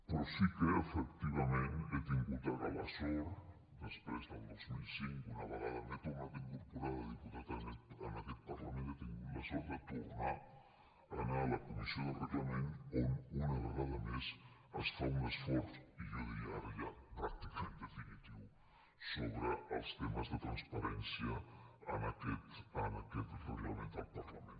però sí que efectivament he tingut ara la sort després del dos mil cinc una vegada m’he tornat a incorporar de diputat en aquest parlament de tornar a anar a la comissió de reglament on una vegada més es fa un esforç i jo diria ara ja pràcticament definitiu sobre els temes de transparència en aquest reglament del parlament